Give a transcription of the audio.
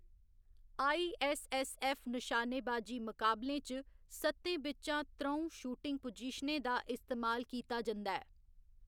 ISSF. निशानेबाजी मुकाबलें च, सत्तें बिच्चा त्र'ऊं शूटिंग पोजीशनें दा इस्तेमाल कीता जंदा ऐ।